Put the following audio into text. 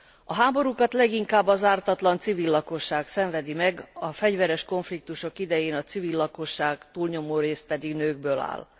A háborúkat leginkább az ártatlan civil lakosság szenvedi meg, a fegyveres konfliktusok idején a civil lakosság túlnyomórészt pedig nőkből áll.